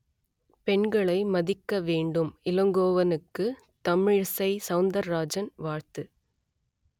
பெண்களை மதிக்க வேண்டும் இளங்கோவனுக்கு தமிழிசை சவுந்தரராஜன் வாழ்த்து